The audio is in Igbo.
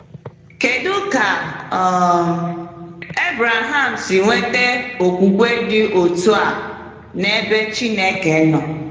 Kedu ka um Ebreham si nweta okwukwe dị otu a n’ebe Chineke nọ?